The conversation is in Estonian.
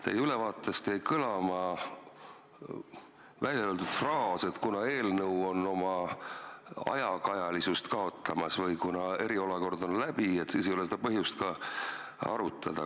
Teie ülevaatest jäi kõlama fraas, et kuna eelnõu on oma ajakajalisust kaotamas, sest eriolukord on läbi, siis ei ole seda põhjust ka arutada.